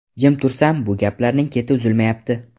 Jim tursam, bu gaplarning keti uzilmayapti.